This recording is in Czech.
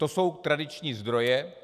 To jsou tradiční zdroje.